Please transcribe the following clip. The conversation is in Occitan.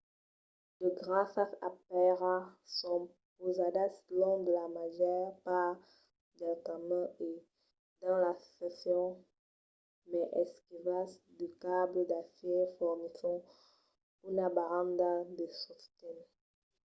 de grasas de pèira son pausadas long de la màger part del camin e dins las seccions mai esquivas de cables d'acièr fornisson una baranda de sosten